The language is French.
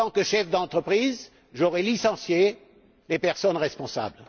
en tant que chef d'entreprise, j'aurais licencié les personnes responsables!